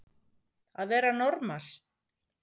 Að vera normal